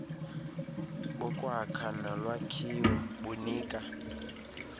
bokwakha nolwakhiwo bunika